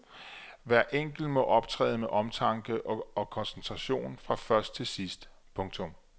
Hver enkelt må optræde med omtanke og koncentration fra først til sidst. punktum